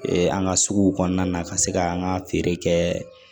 an ka suguw kɔnɔna ka se ka an ka feere kɛ